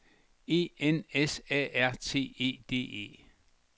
E N S A R T E D E